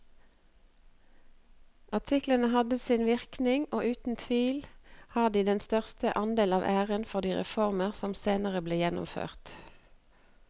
Artiklene hadde sin virkning og uten tvil har de den største andel av æren for de reformer som senere ble gjennomført.